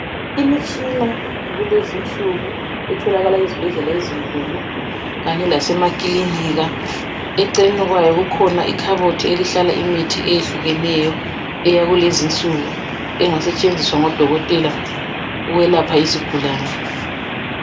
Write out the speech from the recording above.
Imitshina yakulezi insuku etholakala ezibhedlela ezinkulu kanye lasemakilinika eceleni kwayo kukhona ikhabothi ehlala imithi eyehlukeneyo eyakulezi insuku engasetshenziswa ngodokotela ukwelapha izigulane.